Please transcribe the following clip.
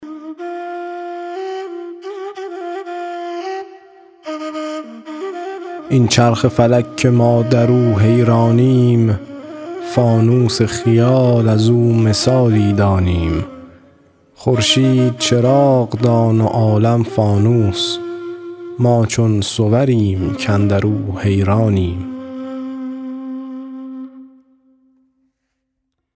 این چرخ فلک که ما در او حیرانیم فانوس خیال از او مثالی دانیم خورشید چراغ دان و عالم فانوس ما چون صوریم کاندر او حیرانیم